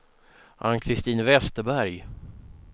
Ann-Christin Westerberg